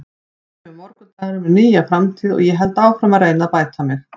Svo kemur morgundagurinn með nýja framtíð og ég held áfram að reyna að bæta mig.